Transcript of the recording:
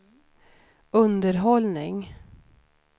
underhållning